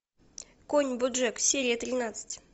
конь боджек серия тринадцать